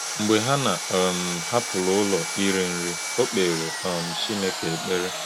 Mgbe Hannạ um hapụrụ ụlọ iri nri, ọ kpeere um Chineke ekpere.